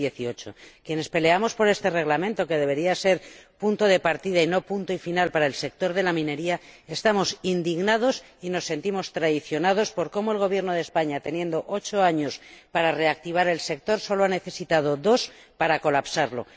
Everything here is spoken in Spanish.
2018. Quienes peleamos por este Reglamento, que debería ser punto de partida y no punto y final para el sector de la minería, estamos indignados y nos sentimos traicionados por cómo el Gobierno de España, teniendo ocho años para reactivar el sector, solo ha necesitado dos para colapsarlo.